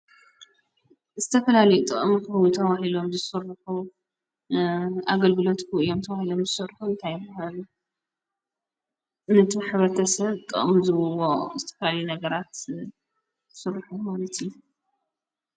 ዝተፈላለዩ ጥቅሚ ተበሂሎም ዝሱርሑ ኣገልግሎትኩ እዮም ተዋሂሎም ዝሠርሑ እንታይ ይብሃሉ ነቲ ኅበርተሰብ ጥቕም ዝውዎ ዝተፈላለዩ ነገራት ሱርሑ ማለት እዩ።